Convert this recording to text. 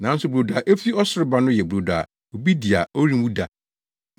nanso brodo a efi ɔsoro ba no yɛ brodo a obi di a ɔrenwu da.